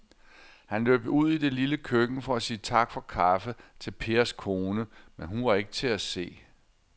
Han løb ud i det lille køkken for at sige tak for kaffe til Pers kone, men hun var ikke til at se.